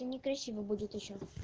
и некрасиво будет ещё